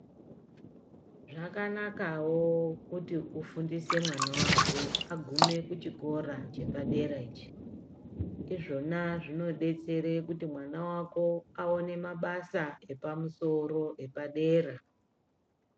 Zvakanakawo kuti ufundise mwana wako, agume kuchikora chepadera ichi. Izvona zvinodetsere kuti mwana wako, awone mabasa epamusoro epadera.